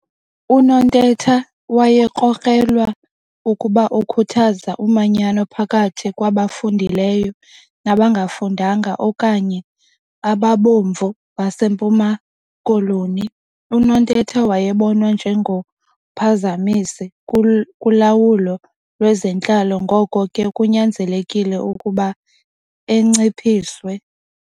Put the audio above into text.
UNontetha wayekrokrelwa ukuba ukhuthaza umanyano phakathi kwabafundileyo nabangafundanga okanye 'ababomvu' baseMpuma Koloni. UNontetha wayebonwa nje ngomphazamisi kulawulo lwezentlalo ngoko ke kunyanzelekile ukuba enciphiswe.